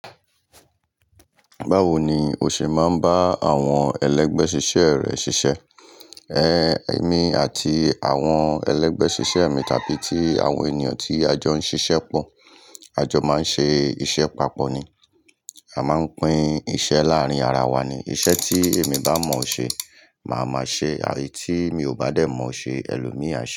Báwoni o ṣe máa ń bá àwọn ẹlẹgbẹ́ ṣiṣẹ́ rẹ ṣiṣẹ́? Ehn, èmi àti àwọn ẹlẹgbẹ́ ṣiṣẹ́ mi tàbí tí àwọn ènìyàn tí a jọ ń ṣiṣẹ́ pọ̀, a jọ máa ń ṣe iṣẹ́ papọ̀ ni. A máa ń pín iṣẹ́ láàárín ara wa ni. Iṣẹ́ tí èmi bá mọ̀ ṣe, màá máa ṣe, eyi tí mi ò bá dé mọ̀ ṣe, ẹlòmíì á ṣe.